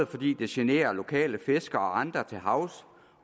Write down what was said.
fordi det generer lokale fiskere og andre til havs